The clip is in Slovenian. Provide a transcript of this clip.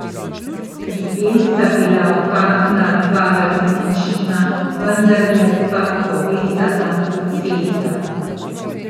Pri tem sta bila opazna dva različna, vendarle pa povezana procesa.